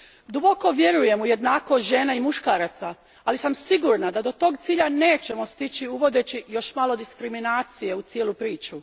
Duboko vjerujem u jednakost žena i muškaraca, ali sam sigurna da do tog cilja nećemo stići uvodeći još malo diskriminacije u cijelu priču.